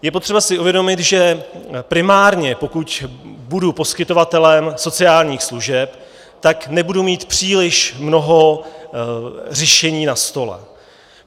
Je potřeba si uvědomit, že primárně, pokud budu poskytovatelem sociálních služeb, tak nebudu mít příliš mnoho řešení na stole.